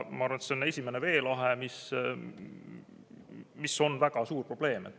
Ma arvan, et see on esimene veelahe, see on väga suur probleem.